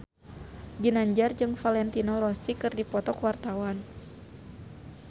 Ginanjar jeung Valentino Rossi keur dipoto ku wartawan